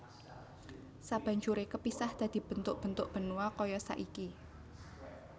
Sabanjuré kepisah dadi bentuk bentuk benua kaya saiki